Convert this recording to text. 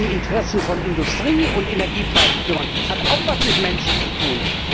Sich um Interessen von Industrie und Energiepreise zu kümmern, hat auch etwas mit Menschen zu tun.